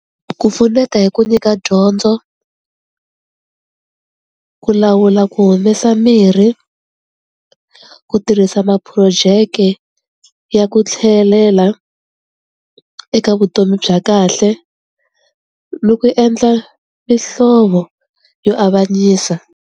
Ku pfuneta hi ku nyika dyondzo, ku lawula ku humesa mirhi, ku tirhisa maphurojeke ya ku tlhelela eka vutomi bya kahle ni ku endla mihlovo yo avanyisa.